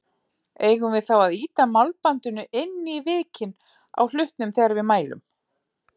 Eigum við þá að ýta málbandinu inn í vikin á hlutnum þegar við mælum?